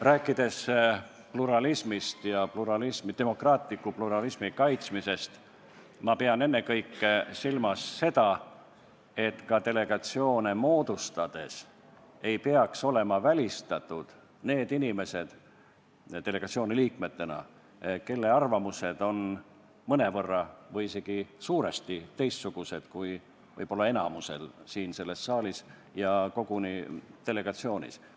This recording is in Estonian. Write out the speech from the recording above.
Rääkides pluralismist ja demokraatliku pluralismi kaitsmisest, pean ma ennekõike silmas seda, et delegatsioone moodustades ei peaks olema delegatsiooni liikmetena välistatud need inimesed, kelle arvamused on mõnevõrra või isegi suuresti teistsugused kui võib-olla enamusel siin selles saalis ja delegatsioonis.